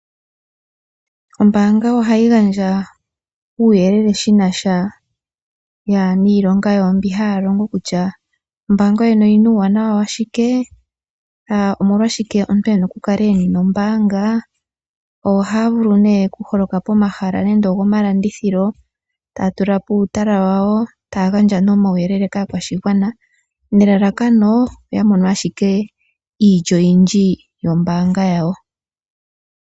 Ombaanga ohayi gandja uuyelele shi na sha niilonga yawo mbyoka haya longo kutya ombaanga yoyene oyi na uuwanawa wa shike, omolwashike omuntu e na okukala e na ombaanga. Ohaya vulu okuholoka pomahala gomalandithilo taya tula po uutala wawo, taya gandja omauyelele kaakwashigwana nelalakano oya mone ashike iilyo oyindji yombaanga yawo.